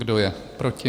Kdo je proti?